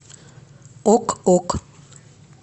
ок ок